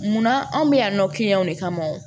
Munna anw bɛ yan nɔ de kama